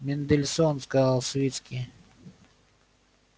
мендельсон сказал свицкий